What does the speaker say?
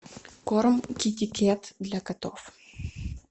корм китикет для котов